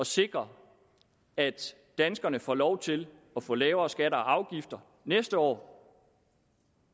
sikre at danskerne får lov til at få lavere skatter og afgifter næste år